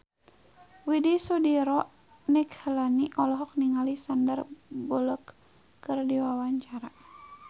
Widy Soediro Nichlany olohok ningali Sandar Bullock keur diwawancara